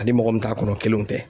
Ani mɔgɔ min t'a kɔnɔ kelenw tɛ.